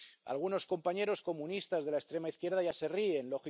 Algunos compañeros comunistas de la extrema izquierda ya se ríen.